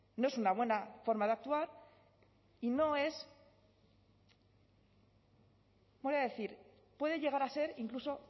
no es una buena forma de actuar y no es voy a decir puede llegar a ser incluso